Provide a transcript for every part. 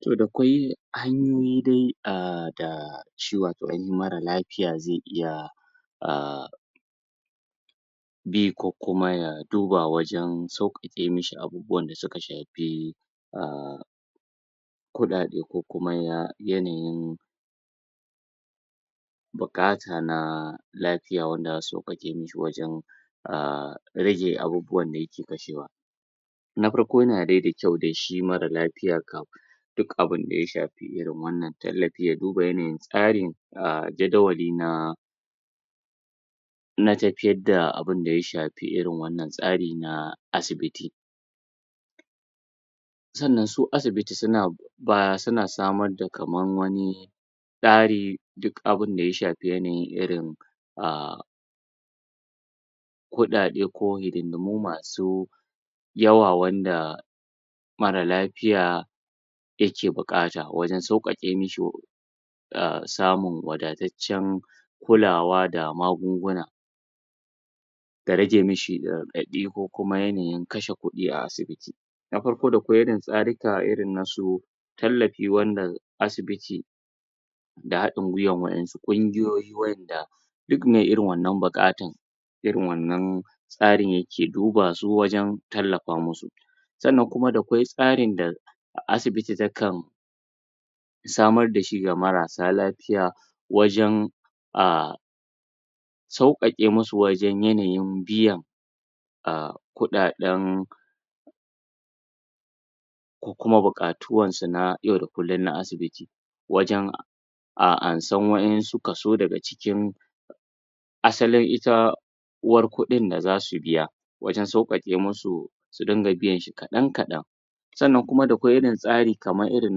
Toh da akwai hanyoyi dai a da shi wato mara lafiya ze iya ahh bi kokuma ya duba wajan saukake mishi abubuwa da suka shafi ahh kuɗaɗe kokuma yanayin buƙata na lafiya wanda zasu sauƙaƙe mishi wajan ahh rage abubuwan da yake kashewa na farko yana de da kyau de shi mara lafiya kam duk abin da ya shafi irin wannan tallafin ya duba yanayin tsarin ahh jadawali na na tafiyar da abun da ya shafi irin wannan tsarin na asibiti sannan su asibiti suna bayar suna samar da kamar wani ɓari duk abinda ya shafi yanayin irin ahh kuɗaɗe ko hidindimu masu yawa wanda mara lafiya yake buƙata wajan sauƙaƙe mashi ahh samun wadatacen kulawa da magunguna da rage mishi raɗaɗ i ko kuma yanayin kashe kuɗi a asibiti na farko da akwai irin tsarika na wasu tallafi wanda asibiti da haɗin gwiwan waƴansu ƙungiyoyi waƴanda duk me irin wannan buƙatan irin wannan tsarin yake duba su wajan tallafa musu sannan kuma da akwai tsarin da asibiti takam samar dashi ga marasa lafiya wajan ahh sauƙaƙe musu wajan yanayin biyan ahh kuɗaɗen kokuma buƙatuwansu na yau da kullum na asibiti wajan ansan wayansu kaso daga cikin asalin ita uwar kuɗin da zasu biya wajan sauƙaƙe musu su dinga biyan shi kadan-kadan sannan kuma da akwai irin tsari kaman irin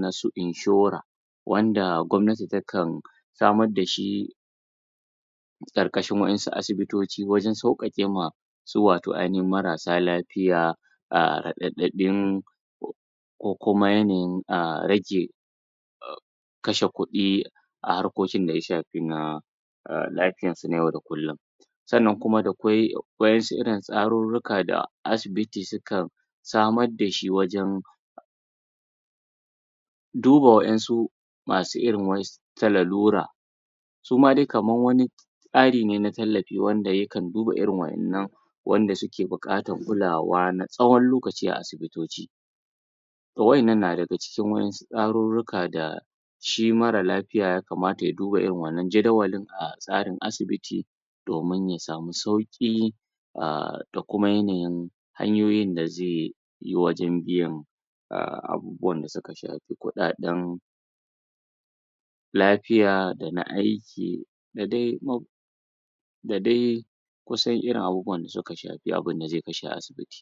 nasu inshora wanda gwamnati takan samar dashi ƙarkashin waƴansu asibitoci wajan sauƙaƙe ma su wato ainihin marasa lafiya ahh raɗaɗin kokuma yanayin ahh rage kashe ƙudi a harkokin da ya shafi na lafiyarsu na yau da kullum sannan kuma akwai wayansu irin tsaruruka wanda asibiti suka samar dashi wajan duba wayansu masu irin wasu ta larura suma de kamar wani tsari ne na tallafi wanda yakan duba irin waƴannan wanda suke buƙan kulawa na tsawon lokaci a asibitoci waƴannan na daga cikin waƴansu tsaruruka da shi mara lafiya ya kamata ya duba irin wannan jadawalin a tsarin asibiti domin ya samu sauki ahh da kuma yanayin hanyoyin da ze yi wajan biyan ahh abubuwan da suka shafi kuɗaɗen lafiya dana aiki da de da de, kusan irin abubuwan da zai kashe a fiye da abubuwan da ze kashe a asibiti